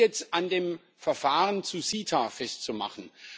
jetzt an dem Verfahren zu CETA festzumachen.